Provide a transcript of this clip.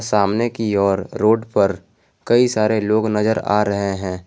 सामने की ओर रोड पर कई सारे लोग नजर आ रहे हैं।